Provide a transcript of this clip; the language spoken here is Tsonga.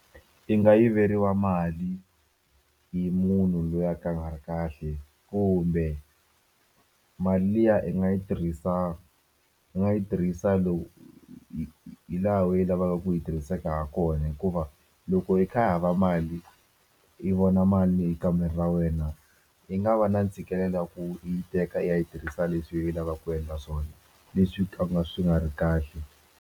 I nga yiveriwa mali hi munhu loyi a ka a nga ri kahle kumbe mali liya i nga yi tirhisa u nga yi tirhisa hi laha u yi lavaka ku yi hiseka ha kona hikuva loko i kha i hava mali i vona mali e kamereni ra wena i nga va na ntshikelelo wa ku u yi teka i yi ya yi tirhisa leswi i lavaka ku endla swona leswi ka ku nga swi nga ri kahle.